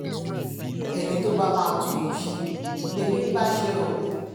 ẹni tó bá máa tún ìlú ṣe lèmi ń bá ṣe o